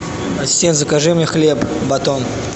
ассистент закажи мне хлеб батон